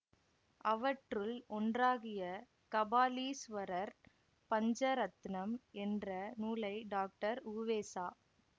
அவற்றுள் ஒன்றாகிய கபாலீஸ்வரர் பஞ்சரத்னம் என்ற நூலை டாக்டர் உவேசா